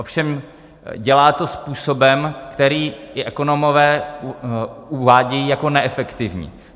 Ovšem dělá to způsobem, který i ekonomové uvádějí jako neefektivní.